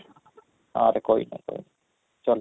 ଆରେ କହିଦେ କହିଦେ ଚାଲ